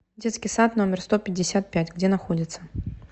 детский сад номер сто пятьдесят пять где находится